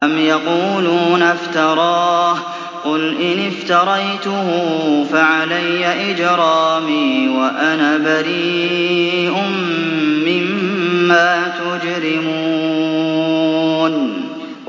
أَمْ يَقُولُونَ افْتَرَاهُ ۖ قُلْ إِنِ افْتَرَيْتُهُ فَعَلَيَّ إِجْرَامِي وَأَنَا بَرِيءٌ مِّمَّا تُجْرِمُونَ